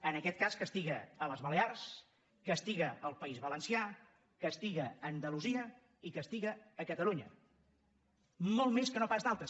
en aquest cas castiga les balears castiga el país valencià castiga andalusia i castiga catalunya molt més que no pas d’altres